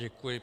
Děkuji.